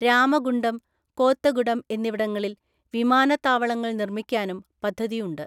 രാമഗുണ്ടം, കോത്തഗുഡം എന്നിവിടങ്ങളിൽ വിമാനത്താവളങ്ങൾ നിർമ്മിക്കാനും പദ്ധതിയുണ്ട്.